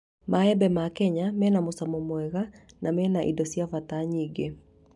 Maembe ma Kenya mena mũcamo mwega na mena indo cia bata nyingĩ